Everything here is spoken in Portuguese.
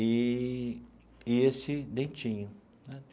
Eee e esse Dentinho.